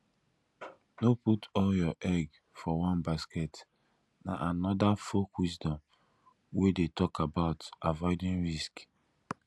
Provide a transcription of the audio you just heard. no put all your egg for one basket na another folk wisdom wey de talk about avoiding risk